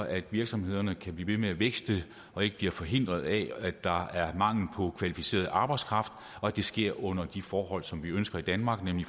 at virksomhederne kan blive ved med at vækste og ikke bliver forhindret af mangel på kvalificeret arbejdskraft og at det sker under de forhold som vi ønsker i danmark nemlig